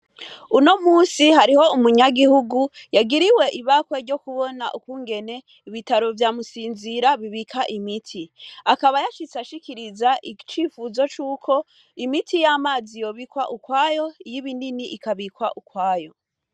Uno Munsi hariho umunyagihugu yagiriwe ibakwe ryo kubona ukungene ibitaro vya Musinzira bibika Imiti .akaba yashitse ashikiriza icifuzo cuko Imiti yamazi yobikwa ukwayo iyi Binini ukwayo.